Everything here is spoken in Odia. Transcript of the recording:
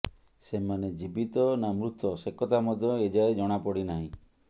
ସେମାନେ ଜୀବିତ ନା ମୃତ ସେକଥା ମଧ୍ୟ ଏଯାଏ ଜଣାପଡ଼ିନାହିଁ